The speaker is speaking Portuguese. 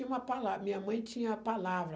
Uma palavra, a minha mãe tinha a palavra.